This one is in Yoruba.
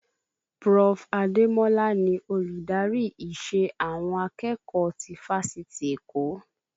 Prof. Ademola ni Olùdarí ìṣe àwọn akẹ́kọ̀ọ́ ti fáṣítì Èkó